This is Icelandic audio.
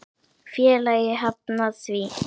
Félagið hafnaði því.